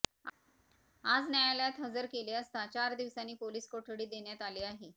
आज न्यायालयात हजर केले असता चार दिवसांची पोलीस कोठडी देण्यात आली आहे